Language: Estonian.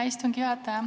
Hea istungi juhataja!